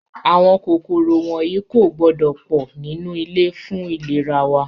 Àwọn kòkòrò wọ̀nyí kò gbọ́dọ̀ pọ̀ nínú ilé fún ìlera wa